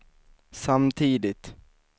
samtidigt